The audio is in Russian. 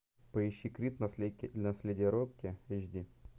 поищи крид наследие рокки эйч ди